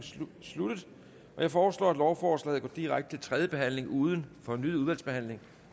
sluttet jeg foreslår at lovforslaget går direkte til tredje behandling uden fornyet udvalgsbehandling